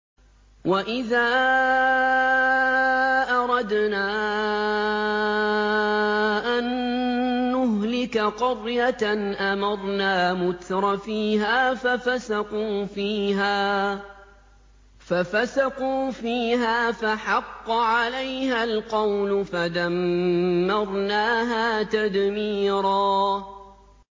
وَإِذَا أَرَدْنَا أَن نُّهْلِكَ قَرْيَةً أَمَرْنَا مُتْرَفِيهَا فَفَسَقُوا فِيهَا فَحَقَّ عَلَيْهَا الْقَوْلُ فَدَمَّرْنَاهَا تَدْمِيرًا